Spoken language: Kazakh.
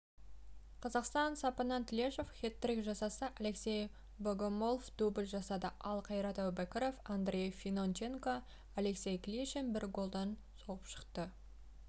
қазақстан сапынан тлешев хет-трик жасаса андрей богомолов дубль жасады ал қайрат әубәкіров андрей финонченко алексей клишин бір голдан соғып шықты